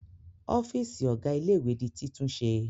Ọ́fíísì ọ̀gá ilé-ìwé di títúnṣe